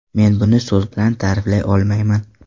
Men buni so‘z bilan ta’riflay olmayman.